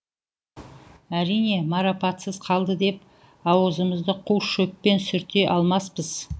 әрине марапатсыз қалды деп аузымызды қу шөппен сүрте алмаспыз